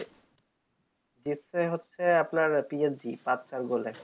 জিতছে হচ্ছে আপনার PLC পাঁচ ছয় goal এ